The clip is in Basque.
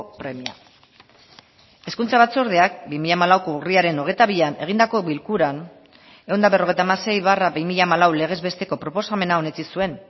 premia hezkuntza batzordeak bi mila hamalauko urriaren hogeita bian egindako bilkuran ehun eta berrogeita hamasei barra bi mila hamalau legez besteko proposamena onetsi zuen